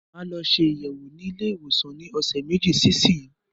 Máa lọ ṣe ayẹwo ní ilé ìwòsàn ní ọsẹ meji sí isiyi